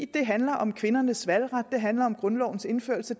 det handler om kvindernes valgret det handler om grundlovens indførelse